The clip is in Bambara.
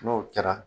N'o kɛra